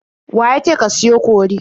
Wa ya ce ka siyo kori?